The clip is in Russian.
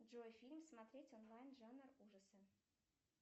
джой фильм смотреть онлайн жанр ужасы